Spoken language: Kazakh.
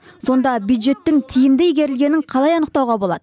сонда бюджеттің тиімді игерілгенін қалай анықтауға болады